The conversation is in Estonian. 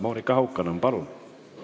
Monika Haukanõmm, palun!